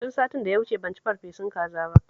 Tun satin da ya wuce ban ci farfesun kaza ba